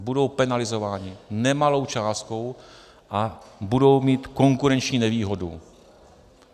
Budou penalizovány nemalou částkou a budou mít konkurenční nevýhodu.